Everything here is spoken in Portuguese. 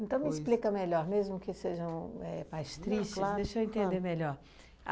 Então, me explica melhor, mesmo que sejam éh mais tristes, deixa eu entender melhor.